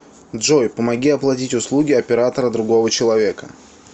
джой помоги оплатить услуги оператора другого человека